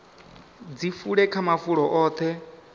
dzi fule kha mafulo oṱhe